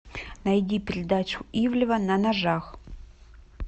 найди передачу ивлева на ножах